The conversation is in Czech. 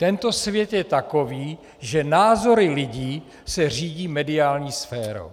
Tento svět je takový, že názory lidí se řídí mediální sférou.